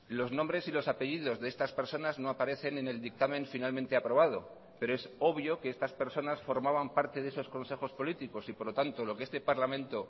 los nombres y los apellidos de estas personas no aparecen en el dictamen finalmente aprobado pero es obvio que estas personas formaban parte de esos consejos políticos y por lo tanto lo que este parlamento